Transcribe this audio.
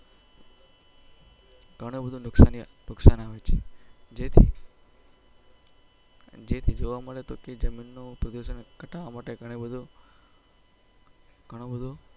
ગણું બધું નુકસાન આવે છે જેથી જોવા મળે તો જમીન નો